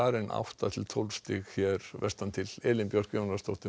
en átta til tólf stig vestantil Elín Björk Jónasdóttir